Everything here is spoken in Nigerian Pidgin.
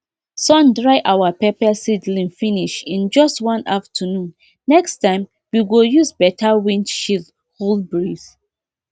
sun dry our pepper seedling finish in just one afternoonnext time we go use better wind shield hold breeze